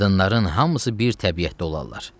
Qadınların hamısı bir təbiətdə olarlar.